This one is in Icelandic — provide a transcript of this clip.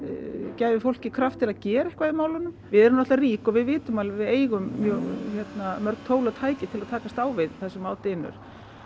gæfi fólki kraft til að gera eitthvað í málunum við erum náttúrulega rík og við vitum að við eigum mörg tól og tæki til að takast á við það sem á dynur